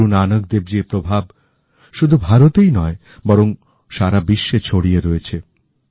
গুরু নানক দেবজীর প্রভাব শুধু ভারতেই নয় বরং সারা বিশ্বে ছড়িয়ে রয়েছে